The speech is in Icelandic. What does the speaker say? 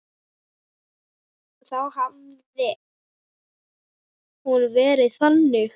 Þá hefði hún verið þannig: